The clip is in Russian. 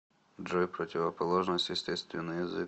джой противоположность естественный язык